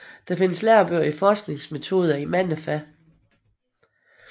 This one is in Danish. Der findes lærebøger i forskningsmetoder i mange fag